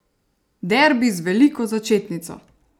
Derbi z veliko začetnico!